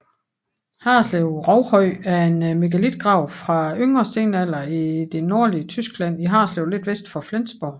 Harreslev Rovhøj er en megalitgrav fra yngre stenalder i det nordlige Tyskland i Harreslev lidt vest for Flensborg